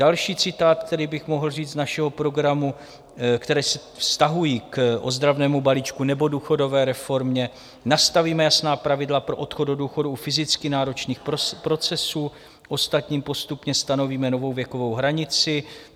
Další citát, který bych mohl říct z našeho programu - které se vztahují k ozdravnému balíčku nebo důchodové reformě: "Nastavíme jasná pravidla pro odchod do důchodu u fyzicky náročných procesů, ostatním postupně stanovíme novou věkovou hranici."